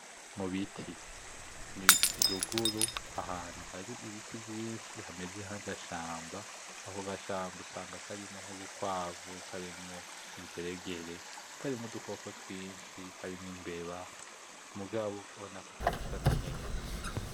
Mubiti n'iruguru ahantu hari ibiti vyishi hameze nkagashamba, ako gashamba usanga karimwo nkubukwavu, karimwo ingeregere, karimwo udukoko twinshi harimo imbeba, mugabo urabona ko kanasa naneza.